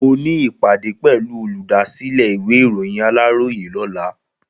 Mo ní ìpàdé pẹ̀lú olùdásílẹ̀ ìwé ìròyìn Aláròyé lọ́la.